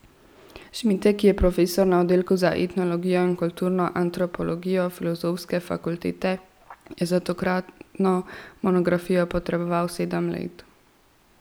Šmitek, ki je profesor na oddelku za etnologijo in kulturno antropologijo Filozofske fakultete, je za tokratno monografijo potreboval sedem let.